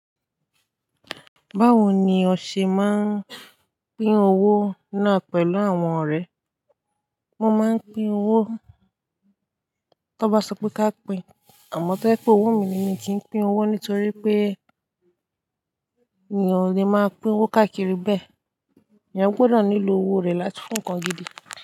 Báwo ni o ṣe máa ń pín owó náà pẹ̀lú àwọn ọ̀rẹ́? Mo máa ń pín owó tó bá sọ pé ká pín, àmọ́ tó ẹ pé owó mi ni mi kì í pín owó nítorí pé ènìyàn ò le máa pín owó káàkiri bẹ́ẹ̀. Èyàn gbọdọ̀ nílò owó rẹ̀ láti fún nǹkan gidi.